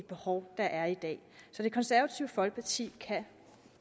behov der er i dag så det konservative folkeparti kan